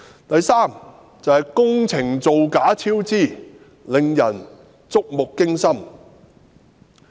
第三，是工程造假及超支，令人觸目驚心。